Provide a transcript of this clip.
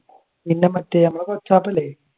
പിന്നെ മറ്റേ നമ്മുടെ